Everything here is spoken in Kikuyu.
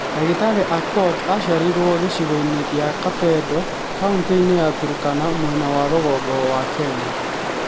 Ndagĩtarĩ Aukot aaciarĩirwo gĩcigo-inĩ kĩa Kapedo, kauniti-inĩ ya Turkana mwena wa rũgongo wa Kenya.